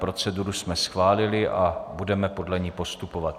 Proceduru jsme schválili a budeme podle ní postupovat.